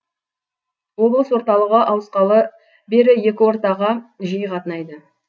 облыс орталығы ауысқалы бері екі ортаға жиі қатынайды